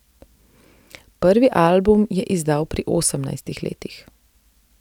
Prvi album je izdal pri osemnajstih letih.